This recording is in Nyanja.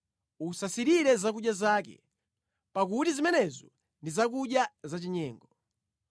Usasirire zakudya zake, pakuti zimenezo ndi zakudya zachinyengo.